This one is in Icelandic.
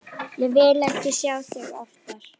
Ég vil ekki sjá þig oftar.